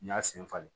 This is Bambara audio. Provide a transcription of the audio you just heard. N y'a sen falen